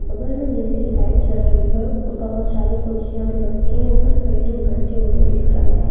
बगल में नीली लाइट जल रही है और बहुत सारी खुशियां भी रखी हुई है और कई लोग बैठे दिख रहे हैं।